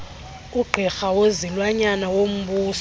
ugqirha wezilwanyana wombuso